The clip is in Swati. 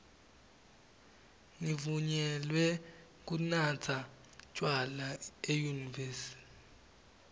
nivunyelwe kunatsa tjwala enyuvesi